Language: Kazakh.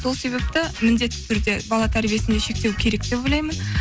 сол себепті міндетті түрде бала тәрбиесінде шектеу керек деп ойлаймын